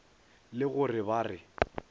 le go re ba re